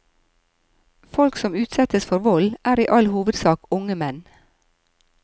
Folk som utsettes for vold er i all hovedsak unge menn.